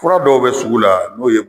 Kura dɔw be sugu la n'o ye